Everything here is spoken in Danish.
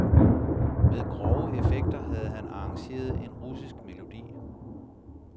Med grove effekter havde han arrangeret en russisk melodi.